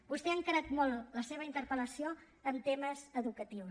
vostè ha encarat molt la seva interpel·lació en temes educatius